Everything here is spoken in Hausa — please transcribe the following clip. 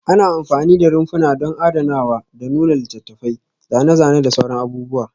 Ana amfani da rumfuna don adanawa da nuna littattafai, zane-zane da sauran abubuwa